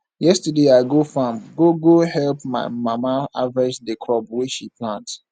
yesterday i go farm go go help my mama harvest the crop wey she plant